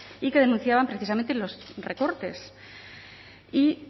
y que denunciaban precisamente los recortes y